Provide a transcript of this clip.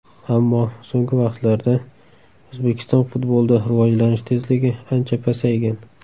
Ammo so‘nggi vaqtlarda O‘zbekiston futbolida rivojlanish tezligi ancha pasaygan.